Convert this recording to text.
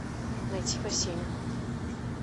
найти васенина